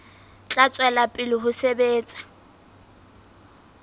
tla tswela pele ho sebetsa